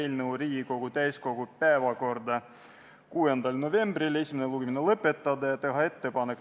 Aga nagu on selgunud, teise lugemise eel tulid sellised muudatusettepanekud, mis muutsid meresõiduohutuse seaduse ka raudteeseaduseks.